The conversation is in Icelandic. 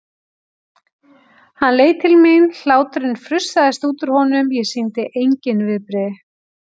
Hann leit til mín, hláturinn frussaðist út úr honum, ég sýndi engin svipbrigði.